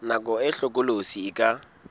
nako e hlokolosi e ka